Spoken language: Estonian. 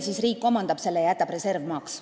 Siis riik omandab ka selle killukese ja jätab reservmaaks.